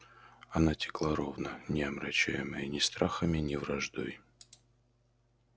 она текла ровно не омрачаемая ни страхами ни враждой